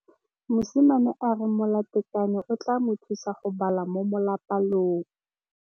Mosimane a re molatekanyô o tla mo thusa go bala mo molapalong.